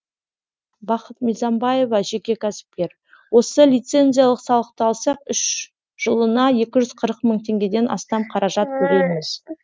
бақыт мизамбаева жеке кәсіпкер осы лицензиялық салықты алсақ үш жылына екі жүз қырық мың теңгеден астам қаражат төлейміз